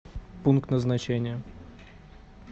пункт назначения